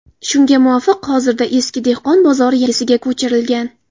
Shunga muvofiq, hozirda eski dehqon bozori yangisiga ko‘chirilgan.